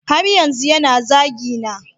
Har yanzu yana zagina